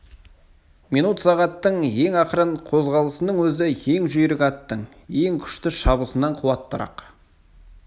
минут сағаттың ең ақырын қозғалысының өзі ең жүйрік аттың ең күшті шабысынан қуаттырақ